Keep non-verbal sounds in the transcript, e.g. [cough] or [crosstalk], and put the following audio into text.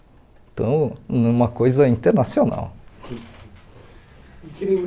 Então, é uma coisa internacional. [laughs] E que